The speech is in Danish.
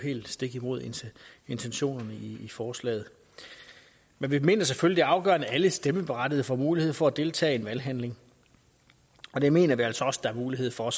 stik imod intentionen i i forslaget men vi mener selvfølgelig at afgørende at alle stemmeberettigede får mulighed for at deltage i en valghandling og det mener vi altså også der er mulighed for